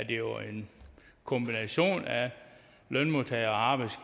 jo en kombination af lønmodtagernes